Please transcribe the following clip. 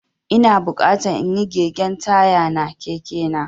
Ina bukatan inyi gegin taya na Keke na.